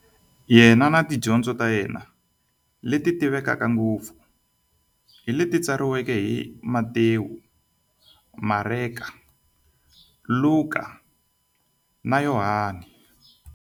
Yena na tidyondzo ta yena, leti tivekaka ngopfu hi leti tsariweke hi-Matewu, Mareka, Luka, na Yohani.